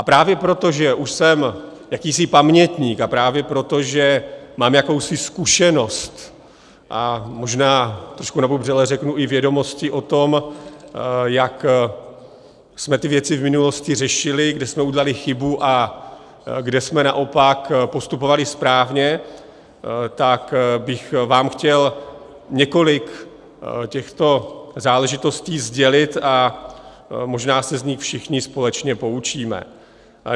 A právě proto, že už jsem jakýsi pamětník, a právě proto, že mám jakousi zkušenost, a možná trošku nabubřele řeknu i vědomosti o tom, jak jsme ty věci v minulosti řešili, kde jsme udělali chybu a kde jsme naopak postupovali správně, tak bych vám chtěl několik těchto záležitostí sdělit a možná se z nich všichni společně poučíme.